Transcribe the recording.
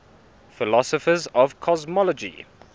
philosophers of cosmology